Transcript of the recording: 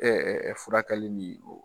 Ɛɛ furakaɛli min don